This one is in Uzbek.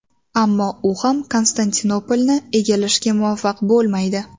Ammo u ham Konstantinopolni egallashga muvaffaq bo‘lmaydi.